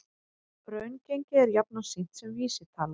Raungengi er jafnan sýnt sem vísitala